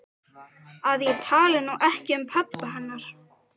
Að ég tali nú ekki um pabba hennar.